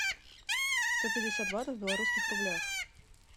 сто пятьдесят батов в белорусских рублях